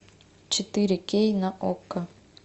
четыре кей на окко